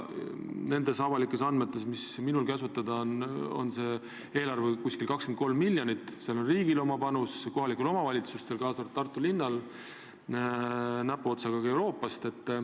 Nendes avalikes andmetes, mis minul kasutada on, on see eelarve umbes 23 miljonit – see hõlmab riigi ja kohalike omavalitsuste, kaasa arvatud Tartu linna panust, näpuotsaga on ka raha Euroopast.